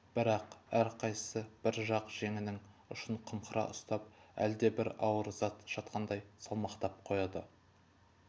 бірақ әрқайсысы бір жақ жеңінің ұшын қымқыра ұстап әлдебір ауыр зат жатқандай салмақтап қояды